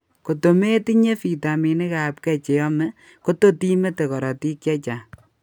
Koto metinye vitaminik ab k cheyomee kotot imete korotik chechang'